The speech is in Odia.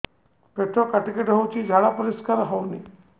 ପେଟ କାଟି କାଟି ହଉଚି ଝାଡା ପରିସ୍କାର ହଉନି